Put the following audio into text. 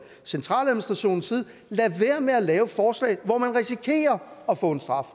centraladministrationers side lader være med at lave forslag hvor man risikerer at få en straf